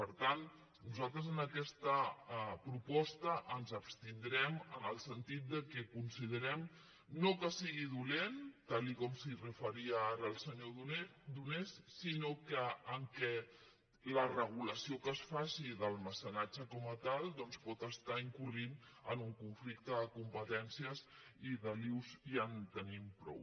per tant nosaltres en aquesta proposta ens abstindrem en el sentit que considerem no que sigui dolenta tal com s’hi referia ara el senyor donés sinó que la regulació que es faci del mecenatge com a tal pot estar incorrent en un conflicte de competències i d’embolics ja en tenim prou